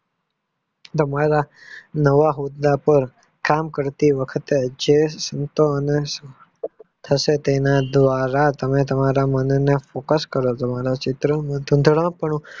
નવા હોદ્દા પાર કામ કરતી વખતે જે નિત અને થતો તેના દ્વારા તમે તમારા મનને તટસ્થ કરજો ચિત્ર